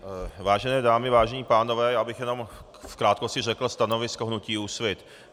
Vážené dámy, vážení pánové, já bych jenom v krátkosti řekl stanovisko hnutí Úsvit.